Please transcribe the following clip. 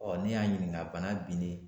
ne y'a ɲininka bana binnen